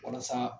Walasa